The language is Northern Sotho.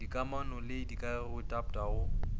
dikamano le dikagego tpa go